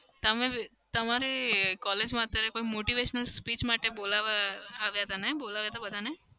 તમે તમારી collage માં અત્યારે કોઈ motivation speech માટે બોલાવાયા આવ્યા હતા ને? બોલાવ્યા તા બધાને?